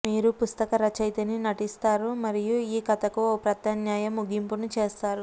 మీరు పుస్తక రచయితని నటిస్తారు మరియు ఈ కథకు ఒక ప్రత్యామ్నాయ ముగింపును చేస్తారు